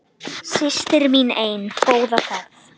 Systir mín ein, góða ferð.